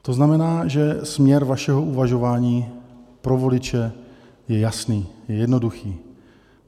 To znamená, že směr vašeho uvažování pro voliče je jasný, je jednoduchý.